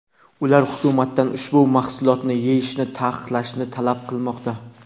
Ular hukumatdan ushbu mahsulotni yeyishni taqiqlashni talab qilmoqda.